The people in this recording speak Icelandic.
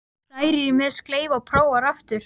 Hrærir í með sleif og prófar aftur.